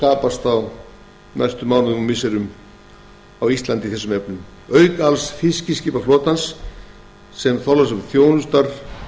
skapast á næstu mánuðum og missirum á íslandi auk alls fiskiskipaflotans sem þorlákshöfn þjónustar